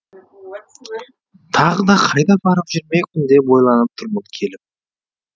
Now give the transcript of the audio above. тағы да қайда барып жүрмекпін деп ойланып тұрмын келіп